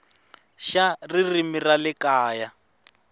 xa ririmi ra le kaya